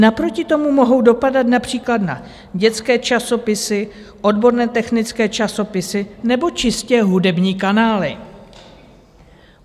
Naproti tomu mohou dopadat například na dětské časopisy, odborné technické časopisy nebo čistě hudební kanály."